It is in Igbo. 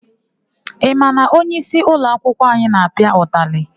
Ị ma na onyeisi ụloakwụkwọ anyị na-apịa ụtalị?